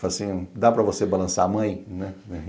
Falo assim, dá para você balançar a mãe?